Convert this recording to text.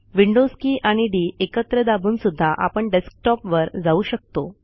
Windows key आणि D एकत्र दाबूनसुद्धा आपण डेस्कटॉपवर जाऊ शकतो